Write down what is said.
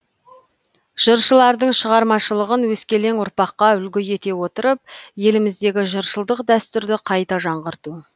жыршылардың шығармашылығын өскелең ұрпаққа үлгі ете отырып еліміздегі жыршылық дәстүрді қайта жаңғырту